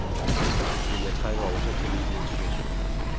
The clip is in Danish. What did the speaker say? Men jeg trænger også til ny motivation.